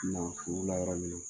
Na furula yɔrɔ wele